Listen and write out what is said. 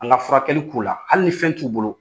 An ga furakɛli k'u la, hali ni fɛn t'u bolo